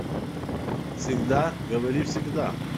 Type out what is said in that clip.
всегда говори всегда